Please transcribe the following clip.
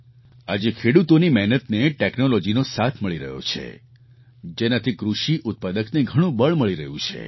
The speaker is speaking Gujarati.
આજે ખેડૂતોની મહેનતને ટૅક્નૉલૉજીનો સાથ મળી રહ્યો છે જેનાથી કૃષિ ઉત્પાદકને ઘણું બળ મળી રહ્યું છે